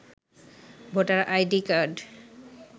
voter ID card